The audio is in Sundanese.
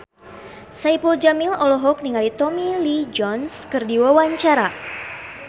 Saipul Jamil olohok ningali Tommy Lee Jones keur diwawancara